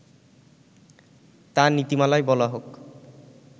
তা নীতিমালায় বলা হোক